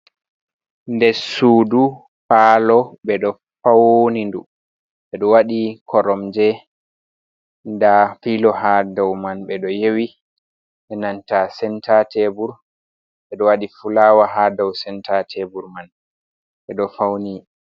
Den suudu palo beɗo fauni duu ɓedo waɗi koromje nda filo ha dou man, ɓe ɗo yewi nanta senta tebur beɗo waɗi fulawa ha dou senta tebur man, beɗo fauni.